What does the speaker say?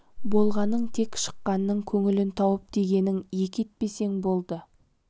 болғаның тек шықаңның көңілін тауып дегенін екі етпесең болды